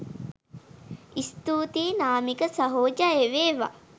ස්තුතියි නාමික සහෝ ජය වේවා!